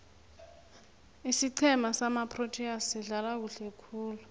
isiqhema samaproteas sidlala kuhle khulu